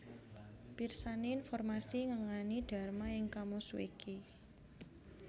Pirsani informasi ngenani Dharma ing KamusWiki